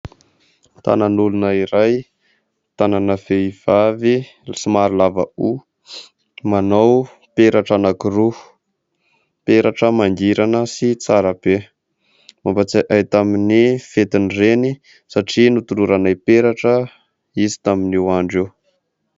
Tànan'olona iray. Tànana vehivavy somary lava hoho, manao peratra anankiroa. Peratra mangirana sy tsara be. Mampatsiahy ahy tamin'ny fetin'ny reny satria notoloranay peratra izy tamin'io andro io.